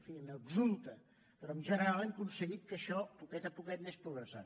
en fi n’exulta però en general hem aconseguit que això a poquet a poquet anés progressant